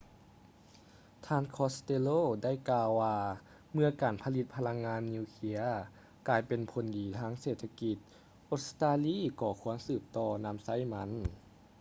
ທ່ານ costello ໄດ້ກ່າວວ່າເມື່ອການຜະລິດພະລັງງານນິວເຄຼຍກາຍເປັນຜົນດີທາງເສດຖະກິດ ອົດສະຕາລີກໍຄວນສືບຕໍ່ນຳໃຊ້ມັນ